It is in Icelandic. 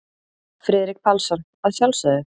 Friðrik Pálsson: Að sjálf sögðu.